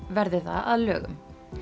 verður það að lögum